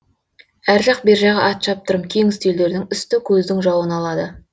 әр жақ бер жағы ат шаптырым кең үстелдердің үсті көздің жауын алады